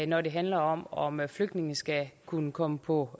når det handler om om flygtninge skal kunne komme på